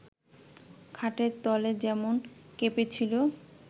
খাটের তলে যেমন কেঁপেছিল